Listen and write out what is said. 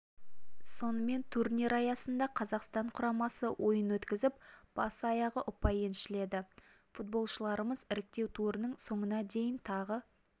сонымен турнир аясында қазақстан құрамасы ойын өткізіп бас-аяғы ұпай еншіледі футболшыларымыз іріктеу турының соңына дейін тағы